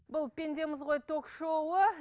бұл пендеміз ғой ток шоуы